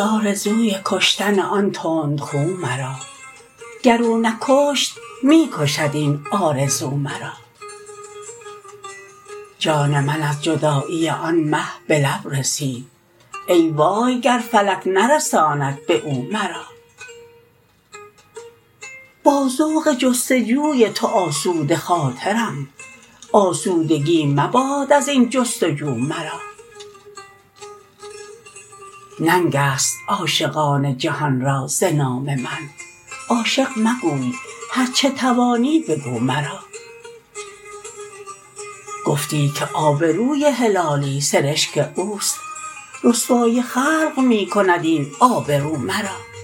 آرزوی کشتن آن تند خو مرا گر او نکشت می کشد این آرزو مرا جان من از جدایی آن مه بلب رسید ای وای گر فلک نرساند باو مرا با ذوق جستجوی تو آسوده خاطرم آسودگی مباد ازین جستجو مرا ننگست عاشقان جهان را ز نام من عاشق مگوی هر چه توانی بگو مرا گفتی که آبروی هلالی سرشک اوست رسوای خلق میکند این آب رو مرا